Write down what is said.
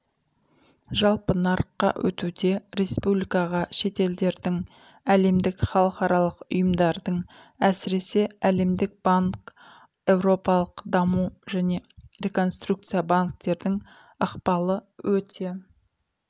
жалпы нарыққа өтуде республикаға шетелдердің әлемдік халықаралық ұйымдардың әсіресе әлемдік банк еуропалық даму және реконструкция банктердің ықпалы өте